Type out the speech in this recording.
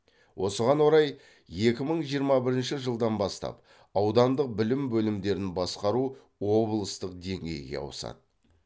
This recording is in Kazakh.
осыған орай екі мың жиырма бірінші жылдан бастап аудандық білім бөлімдерін басқару облыстық деңгейге ауысады